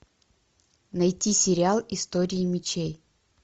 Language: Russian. найти сериал истории мечей